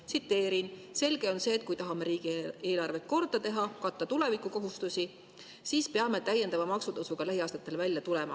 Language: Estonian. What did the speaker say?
Tsiteerin: "Selge on see, et kui me tahame riigieelarvet korda teha ja katta oma tulevikukohustusi, peame me täiendava maksutõusuga lähiaastatel välja tulema.